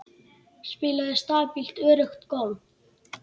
Spilaði stabílt öruggt golf.